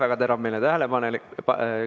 Väga teravmeelne tähelepanek!